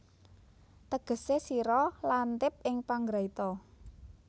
Tegesé sira lantip ing panggraita